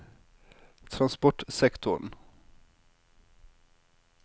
transportsektoren